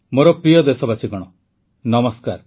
ମୋର ପ୍ରିୟ ଦେଶବାସୀଗଣ ନମସ୍କାର